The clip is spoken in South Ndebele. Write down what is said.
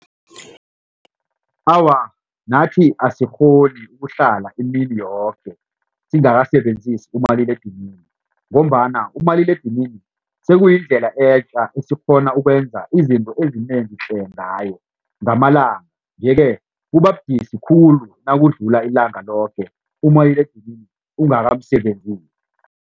Awa nathi asikghoni ukuhlala imini yoke singakasebenzisi umaliledinini ngombana umaliledinini sekuyindlela etja esikghona ukwenza izinto ezinengi tle ngayo ngamalanga njeke kuba budisi khulu nakudlula ilanga loke umaliledinini ungakamsebenzisi.